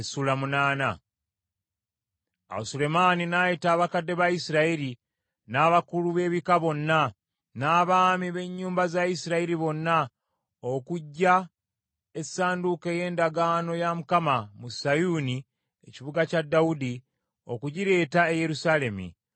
Awo Sulemaani n’ayita abakadde ba Isirayiri, n’abakulu b’ebika bonna, n’abaami b’ennyumba za Isirayiri bonna, okuggya essanduuko ey’endagaano ya Mukama mu Sayuuni ekibuga kya Dawudi, okugireeta e Yerusaalemi.